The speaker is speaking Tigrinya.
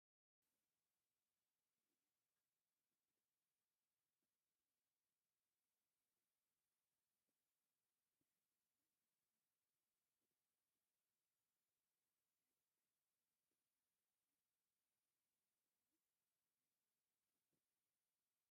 እዚ ኣብ ህንጸት ዝርከብ ነዊሕ ህንጻ ዘርኢ እዩ። እቲ መስኮት ገና ኣይተተኸለን፣ እታ ዓዲ ድማ ገና ኣብ መጀመርታ ደረጃ ምዕባለኣ እያ ዘላ። እዚ ተስፋ ዕብየትን ሓድሽ ጅማሮን ዘርኢ ህዝባዊ ምንቅስቓስ እዩ።